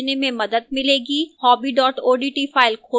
hobby odt file खोलें